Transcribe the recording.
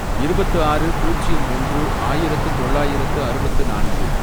இருபத்து ஆறு, பூஜ்யம் ஒன்று, ஆயிரத்து தொள்ளாயிரத்து அறுபத்து நான்கு